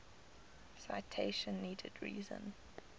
citation needed reason